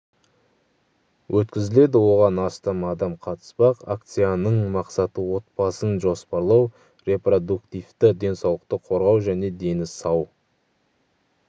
өткізіледі оған астам адам қатыспақ акцияның мақсаты отбасын жоспарлау репродуктивті денсаулықты қорғау және дені сау